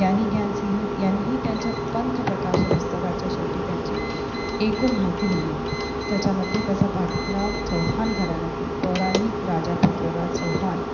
ग्यानी ग्यानसिग यांनीही यांच्या पंच प्रकाशन ह्या पुस्तकाच्या शेवटी त्यांची ऐकून माहिती दिली आहे त्याच्या मध्ये याचा पटला चौहान घराण्यातील पौराणिक राजा पृथ्वीराज चौहान.